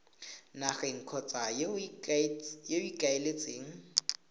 nageng kgotsa yo o ikaeletseng